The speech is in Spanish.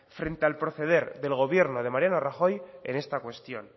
frente al proceder del gobierno de mariano rajoy en esta cuestión